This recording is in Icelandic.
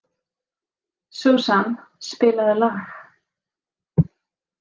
Susan, spilaðu lag.